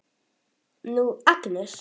Nú, Agnes.